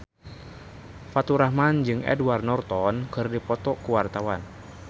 Faturrahman jeung Edward Norton keur dipoto ku wartawan